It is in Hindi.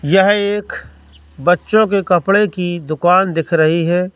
यह एक बच्चों के कपड़े की दुकान दिख रही है।